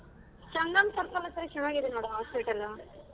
Sangam circle ಅತ್ರ ಚನಾಗಿದೆ ನೋಡು hospital ಲು.